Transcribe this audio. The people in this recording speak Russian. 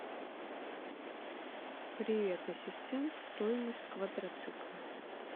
привет ассистент стоимость квадроцикла